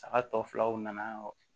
Saga tɔ filaw nana